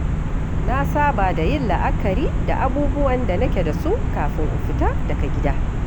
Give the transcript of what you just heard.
Na saba da yin la’akari da abubuwan da nake da su kafin in fita daga gida.